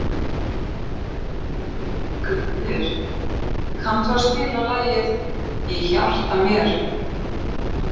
Grímnir, kanntu að spila lagið „Í hjarta mér“?